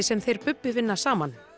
sem þeir Bubbi vinna saman